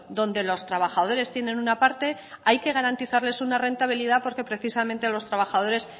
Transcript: donde los trabajadores tienen una parte hay que garantizarles una rentabilidad porque precisamente los trabajadores